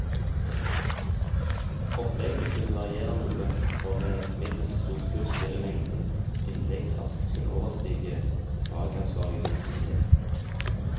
Oppleggene kunne variere noe, for med et middels stort kurs ville mengden innlegg raskt kunne overstige fagansvarliges kapasitet.